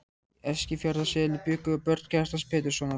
Í Eskifjarðarseli bjuggu börn Kjartans Péturssonar.